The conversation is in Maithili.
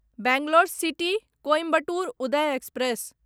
Bangalore city Coimbatore Uday express